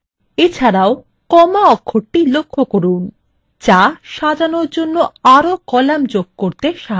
এছাড়াও comma অক্ষরটি লক্ষ্য করুন যা সাজানোর জন্য আরও কলাম যোগ করতে সাহায্য করে